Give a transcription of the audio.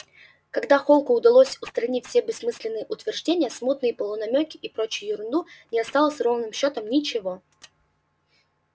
когда холку удалось устранить все бессмысленные утверждения смутные полунамёки и прочую ерунду не осталось ровным счётом ничего